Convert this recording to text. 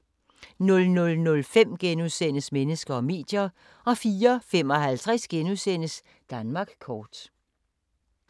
00:05: Mennesker og medier * 04:55: Danmark kort *